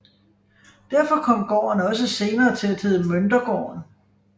Derfor kom gården også senere til at hedde Møntergården